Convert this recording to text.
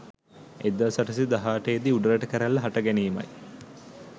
1818 දී උඩරට කැරැල්ල හට ගැනීමයි.